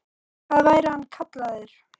hvað væri hann kallaður?